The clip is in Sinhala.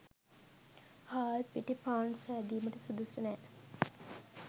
හාල් පිටි පාන් සැදීමට සුදුසු නෑ.